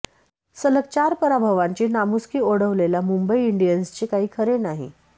सलग चार पराभवांची नामुष्की ओढवलेल्या मुंबई इंडियन्सचे काही खरे नाही